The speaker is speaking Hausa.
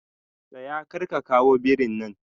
Tsaya! karka kawo birin nan.